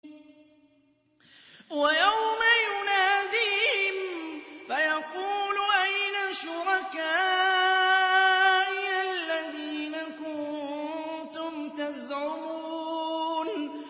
وَيَوْمَ يُنَادِيهِمْ فَيَقُولُ أَيْنَ شُرَكَائِيَ الَّذِينَ كُنتُمْ تَزْعُمُونَ